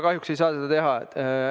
Kahjuks ei saa seda teha.